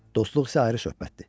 dostluq isə ayrı söhbətdir.